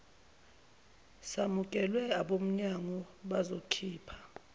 samukelwe abomnyango bazokhipha